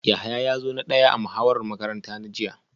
Yahaya ya zo na daya a muhawarar makarantar jiya